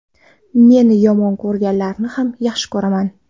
Meni yomon ko‘rganlarni ham yaxshi ko‘raman.